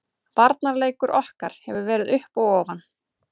Varnarleikur okkar hefur verið upp og ofan.